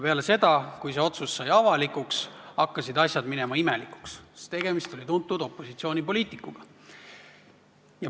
Peale seda, kui see otsus sai avalikuks, hakkasid asjad minema imelikuks, sest tegemist oli tuntud opositsioonipoliitikuga.